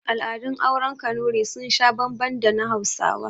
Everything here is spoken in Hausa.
Al'adun auren kanurai sun sha bambam da na hausawa